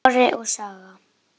Sonur minn er að deyja.